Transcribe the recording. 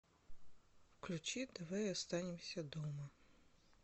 включи давай останемся дома